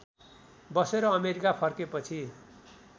बसेर अमेरिका फर्केपछि